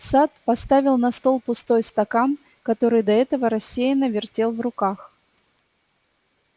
сатт поставил на стол пустой стакан который до этого рассеянно вертел в руках